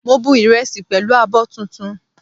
Mo bu ìrẹsì pẹ̀lú abọ́ tuntun